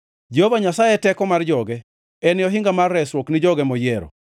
Jehova Nyasaye e teko mar joge, en e ohinga mar resruok ni joge moyiero.